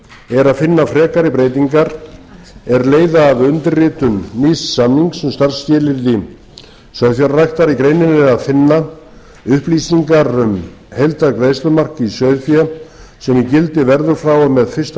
er að finna frekari breytingar er leiða af undirritun nýs samnings um starfsskilyrði sauðfjárræktar í greininni er að finna upplýsingar um heildargreiðslumark í sauðfé sem í gildi verður frá og með fyrsta janúar tvö